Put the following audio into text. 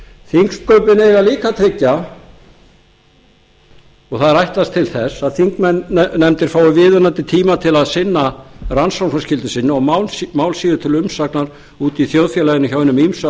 þingsköpin eiga líka að tryggja og það er ætlast til þess að þingnefndir fái viðunandi tíma til að sinna rannsóknarskyldu sinni og mál séu til umsagnar úti í þjóðfélaginu hjá hinum ýmsu